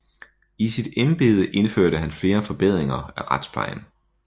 I sit embede indførte han flere forbedringer af retsplejen